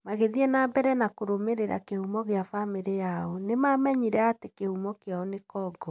Magĩthiĩ na mbere na kũrũmĩrĩra kĩhumo gĩa bamĩrĩ yao, nĩmamenyire atĩ kĩhumo kĩao nĩ Congo.